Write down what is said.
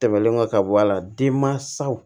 Tɛmɛnen kɔ ka bɔ a la denmansaw